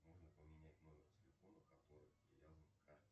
нужно поменять номер телефона который привязан к карте